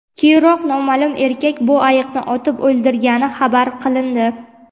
Keyinroq noma’lum erkak bu ayiqni otib o‘ldirgani xabar qilindi.